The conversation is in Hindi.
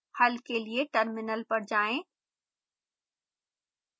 हल के लिए टर्मिनल पर जाएं